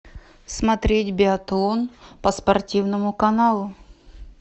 смотреть биатлон по спортивному каналу